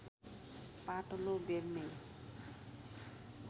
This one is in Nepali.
पातलो बेल्ने